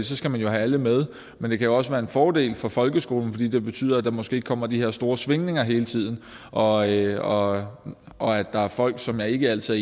så skal man jo have alle med men det kan jo også være en fordel for folkeskolen fordi det betyder at der måske ikke kommer de her store svingninger hele tiden og og at folk som jeg ikke altid